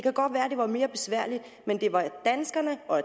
var mere besværligt men det var danskerne og